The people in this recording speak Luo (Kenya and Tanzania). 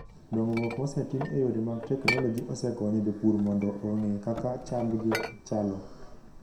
Dongruok mosetim e yore mag teknoloji osekonyo jopur mondo ong'e kaka chamgi chalo.